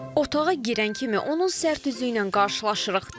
Otağa girən kimi onun sərt üzlüyünə qarşılaşırıq.